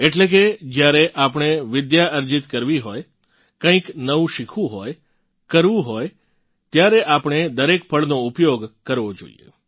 એટલે કે જ્યારે આપણે વિદ્યા અર્જિત કરવી હોય કંઇક નવું શીખવું હોય કરવું હોય ત્યારે આપણે દરેક પળનો ઉપયોગ કરવો જોઇએ